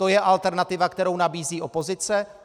To je alternativa, kterou nabízí opozice?